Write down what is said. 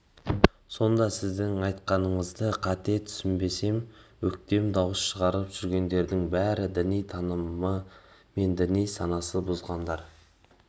сонда сіздің айтқандарыңызды қате түсінбесем өктем дауыс шығарып жүргендердің бәрі діни танымы мен діни санасы бұзылғандар